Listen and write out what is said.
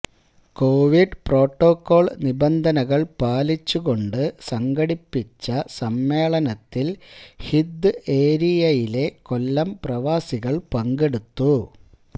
Covid protocol നിബന്ധനകൾ പാലിച്ചു കൊണ്ട് സംഘടിപ്പിച്ച സമ്മേളനത്തിൽ ഹിദ്ദ് ഏരിയയിലെ കൊല്ലം പ്രവാസികൾ പങ്കെടുത്തു